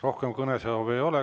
Rohkem kõnesoove ei ole.